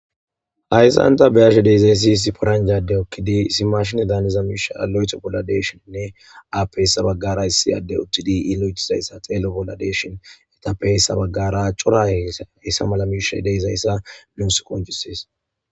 ayssanta beashe deezayssi isi poranjade okkidi isimashin daaniza miisha alo7eto bolla deeshoninne aappeyessa baggara hissiyadde uttidi ilo7etizayssa teelo bolla deeshin eta peyessa baggara cora hessa mala miisha ideysayssa mus qonchuses